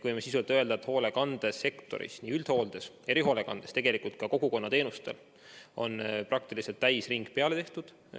Võime öelda, et hoolekandesektoris, nii üldhoolekandes kui ka erihoolekandes, tegelikult ka kogukonnateenuste puhul on vaktsineerimisega praktiliselt täisring peale tehtud.